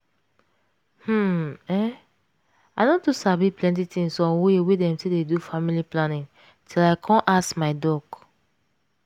hmm um i no too sabi plenty things on way dem dey take do family planning till i come ask my doc.